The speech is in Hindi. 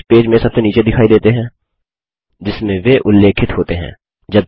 फुटनोट्स पेज में सबसे नीचे दिखाई देते हैं जिसमें वे उल्लेखित होते हैं